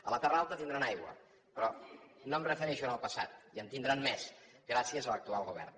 a la terra alta tindran aigua però no em refereixo al passat i en tindran més gràcies a l’actual govern